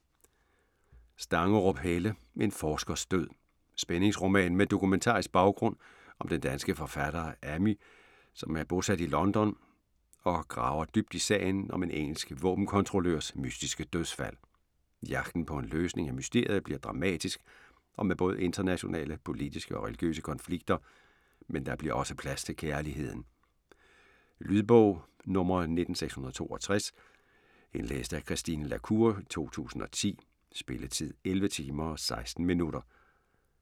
Stangerup, Helle: En forskers død Spændingsroman med dokumentarisk baggrund om den danske forfatter Amy, som er bosat i London og graver dybt i sagen om en engelsk våbenkontrollørs mystiske dødsfald. Jagten på en løsning af mysteriet bliver dramatisk og med både internationale politiske og religiøse konflikter, men der bliver også plads til kærligheden. Lydbog 19662 Indlæst af Christine la Cour, 2010. Spilletid: 11 timer, 16 minutter.